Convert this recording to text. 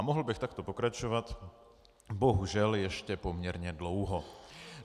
A mohl bych takto pokračovat bohužel ještě poměrně dlouho.